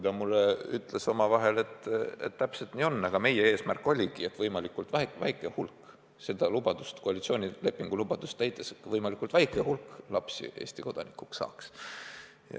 Ta ütles mulle omavahel, et täpselt nii on: meie eesmärk oligi, et seda koalitsioonilepingu lubadust täites võimalikult väike hulk lapsi Eesti kodanikuks saaks.